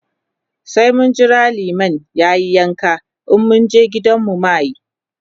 sai mun Jira liman yayi yanka in mun je gida mu ma muyi.